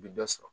U bɛ dɔ sɔrɔ